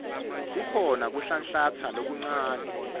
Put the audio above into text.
kukhona kuhlanhlatsa lokuncane